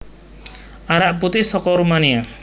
Arak putih soko Rumania